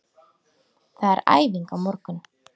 Það er æfing á morgun.